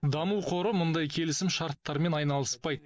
даму қоры мұндай келісімшарттармен айналыспайды